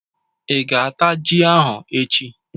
Ị ga-ata ji ahụ echi